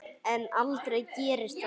En aldrei gerist það.